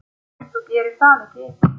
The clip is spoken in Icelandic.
Þú gerir það ekki.